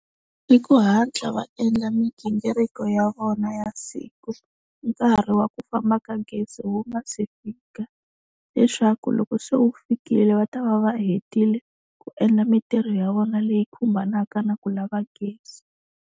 I ku hatla va endla migingiriko ya vona ya siku, nkarhi wa ku famba ka gezi wu nga si fika, leswaku loko se wu fikile va ta va va hetile ku endla mintirho ya vona leyi khumbanaka na ku lava gezi.